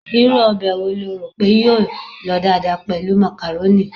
Irú ọbẹ̀ wo lo rò pé yóò lọ dáadáa pẹ̀lú macaroni?